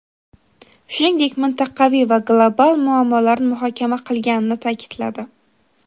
shuningdek mintaqaviy va global muammolarni muhokama qilganini ta’kidladi.